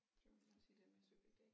Så må du gerne sige det med subjekt A